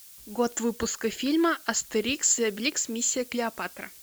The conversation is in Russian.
год выпуска фильма астерикс и обеликс миссия клеопатра